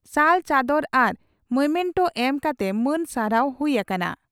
ᱥᱟᱞ ᱪᱟᱫᱚᱨ ᱟᱨ ᱢᱚᱢᱮᱱᱴᱚ ᱮᱢ ᱠᱟᱛᱮ ᱢᱟᱹᱱ ᱥᱟᱨᱦᱟᱣ ᱦᱩᱭ ᱟᱠᱟᱱᱟ ᱾